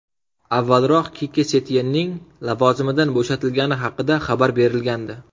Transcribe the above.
Avvalroq Kike Setyenning lavozimidan bo‘shatilgani haqida xabar berilgandi .